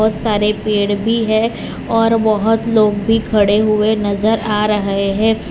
सारे पेड़ भी है और बहुत लोग भी खड़े हुए नजर आ रहे है।